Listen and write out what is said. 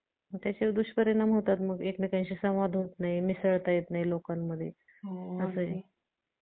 Hello madam कसे आहात? आजकाल तुम्हाला दिसले नाही काय झाले तुम्ही आजारी आहात?